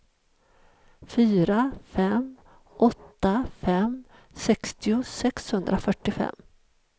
fyra fem åtta fem sextio sexhundrafyrtiofem